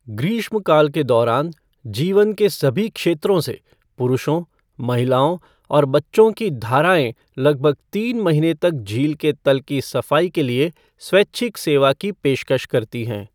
ग्रीष्मकाल के दौरान, जीवन के सभी क्षेत्रों से पुरुषों, महिलाओं और बच्चों की धाराएँ लगभग तीन महीने तक झील के तल की सफाई के लिए स्वैच्छिक सेवा की पेशकश करती हैं।